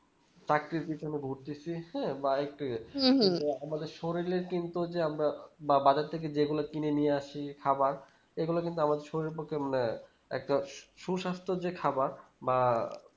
চাকরির পেছনে ঘুরতেছি হ্যাঁ বা একটু তো আমাদের শরীরে যে আমরা বাবাজার থেকে যেগুলা কিনে নিয়ে আসি খাবার ওগুলো কিন্তু আমার শরীরের পক্ষে ম্যা একটা সুসাস্থ যে খাবার বা